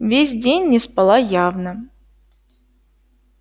весь день не спала явно